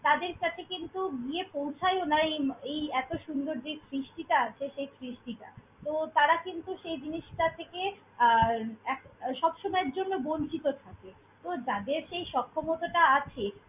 তাদের কাছে কিন্তু গিয়ে পৌছায়ও না এই এই এতো সুন্দর যে সৃষ্টিটা আছে, সেই সৃষ্টিটা। তো তারা কিন্তু সেই জিনিসটা থেকে আহ এক~ সবসময়ের জন্য বঞ্চিত থাকে। তো যাদের সেই সক্ষমতাটা আছে।